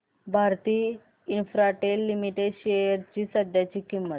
Bharti Infratel Limited shares ची सध्याची किंमत